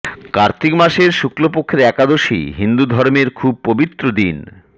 কার্তিক মাসের শুক্ল পক্ষের একাদশীকে হিন্দু ধর্মে খুব পবিত্র দিন